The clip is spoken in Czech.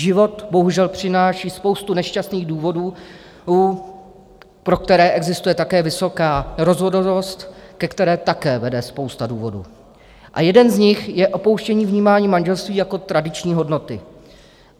Život bohužel přináší spoustu nešťastných důvodů, pro které existuje také vysoká rozvodovost, ke které také vede spousta důvodů, a jeden z nich je opouštění vnímání manželství jako tradiční hodnoty.